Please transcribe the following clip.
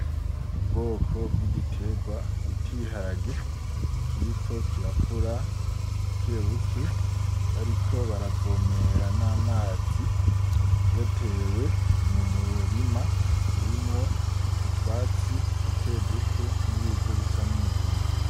Ubwoko bw'igitegwa bita ibiharage kiriko kirakura bukebuke bariko baravomera n'amazi, gitewe mu murima urimwo utwatsi duke duke, n'ibivu bisa n'umugina.